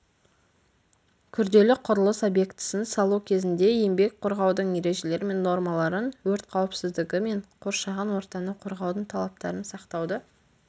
күрделі құрылыс объектісін салу кезінде еңбек қорғаудың ережелері мен нормаларын өрт қауіпсіздігі мен қоршаған ортаны қорғаудың талаптарын сақтауды